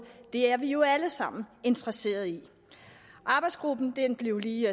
det er vi jo alle sammen interesseret i arbejdsgruppen blev lige